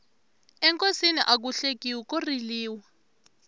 enkosini aku hlekiwi ko riliwa